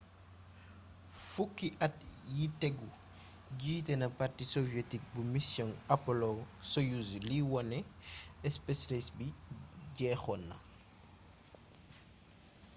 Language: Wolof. fuki at yi tegu jité na parti soviet bu missiong u apollo-soyuz li woné space race bii jexona